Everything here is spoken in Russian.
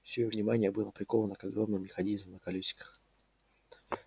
все её внимание было приковано к огромному механизму на колёсиках